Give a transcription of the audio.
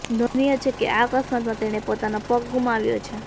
નોંધનીય છે કે આ અકસ્માતમાં તેણે પોતાનો પગ ગુમાવ્યો છે